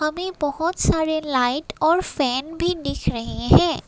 मे बहोत सारे लाइट और फैन भी दिख रहे है।